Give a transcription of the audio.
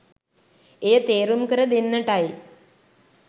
එය තේරුම් කර දෙන්නටයි